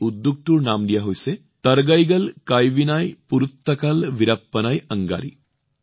উদ্যোগটোৰ নাম দিয়া হৈছে থাৰগইগল কাইভিনাই পোৰুট্টাকাল বীৰাপ্পানাই অংগাড়ি